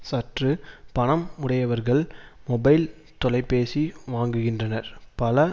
சற்று பணம் உடையவர்கள் மொபைல் தொலைபேசி வாங்குகின்றனர் பல